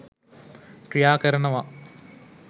ක්‍රියා කරනව